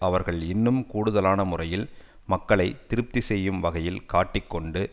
அவர்கள் இன்னும் கூடுதலான முறையில் மக்களை திருப்தி செய்யும் வகையில் காட்டிக் கொண்டு